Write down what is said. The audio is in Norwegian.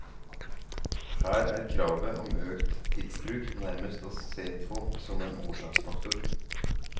Her er kravet om økt tidsbruk nærmest å se på som en årsaksfaktor.